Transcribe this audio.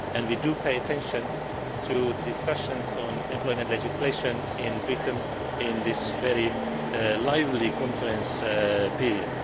We do pay attention to the discussions on employment legislation in Britain in this very lively conference period.